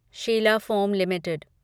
Sheila foam limited